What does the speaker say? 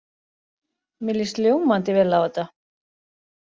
Mér líst ljómandi vel á þetta.